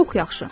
Çox yaxşı.